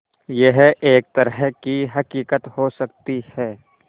यह एक तरह की हक़ीक़त हो सकती है